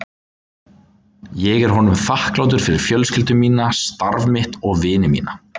Ég er honum þakklátur fyrir fjölskyldu mína, starf mitt og vini mína.